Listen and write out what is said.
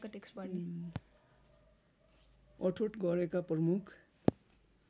अठोट गरेका प्रमुख